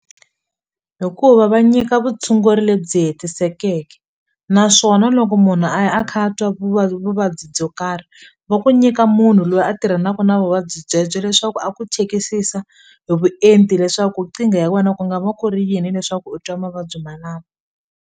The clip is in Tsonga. Hikuva va nyika vutshunguri lebyi hetisekeke naswona loko munhu a ya a kha a twa vuvabyi byo karhi vo ku nyika munhu loyi a tirhanaku na vuvabyi byebyo leswaku a ku chekisisa hi vuenti leswaku nkingha ya wena ku nga va ku ri yini leswaku u twa mavabyi malama.